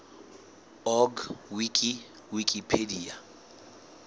org wiki wikipedia